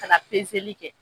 Ka ta pezeli kɛ